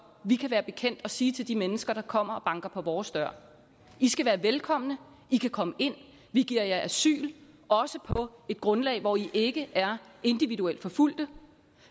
vi kan være bekendt at sige til de mennesker der kommer og banker på vores dør i skal være velkomne i kan komme ind vi giver jer asyl også på et grundlag hvor i ikke er individuelt forfulgte